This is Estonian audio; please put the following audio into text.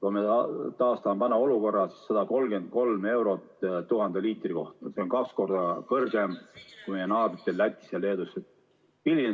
Kui me taastame vana olukorra ehk 133 eurot 1000 liitri kohta, siis see on kaks korda kõrgem kui meie naabritel Lätis ja Leedus.